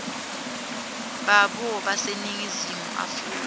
babo baseningizimu afrika